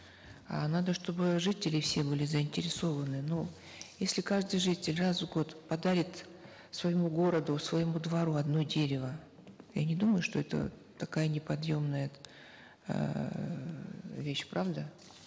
а надо чтобы жители все были заинтересованы ну если каждый житель раз в год подарит своему городу своему двору одно дерево я не думаю что это такая неподъемная эээ вещь правда